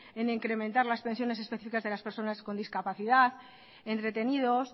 en incrementar las pensiones especificas de las personas con discapacidad entretenidos